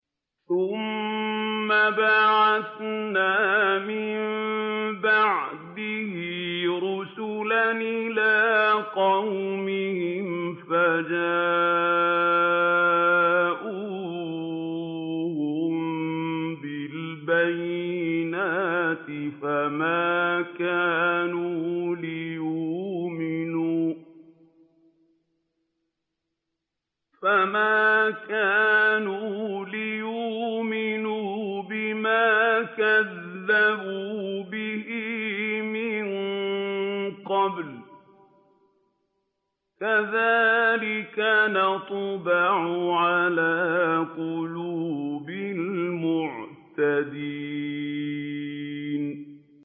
ثُمَّ بَعَثْنَا مِن بَعْدِهِ رُسُلًا إِلَىٰ قَوْمِهِمْ فَجَاءُوهُم بِالْبَيِّنَاتِ فَمَا كَانُوا لِيُؤْمِنُوا بِمَا كَذَّبُوا بِهِ مِن قَبْلُ ۚ كَذَٰلِكَ نَطْبَعُ عَلَىٰ قُلُوبِ الْمُعْتَدِينَ